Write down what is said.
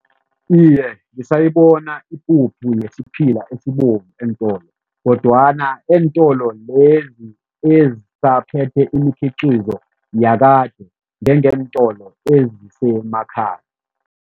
Iye, ngisayibona ipuphu yesiphila esibovu eentolo kodwana eentolo lezi ezisaphethe imikhiqizo yakade njengeentolo ezisemakhaya.